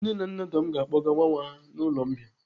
Nne na nna Tom ga-akpọga nwa nwa ha n'ụlọ mbìa.